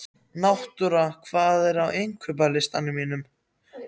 Náttúra, hvað er á innkaupalistanum mínum?